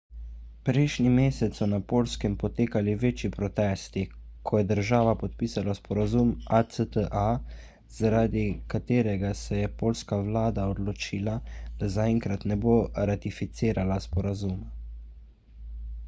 prejšnji mesec so na poljskem potekali večji protesti ko je država podpisala sporazum acta zaradi katerega se je poljska vlada odločila da zaenkrat ne bo ratificirala sporazuma